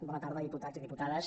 bona tarda diputats i diputades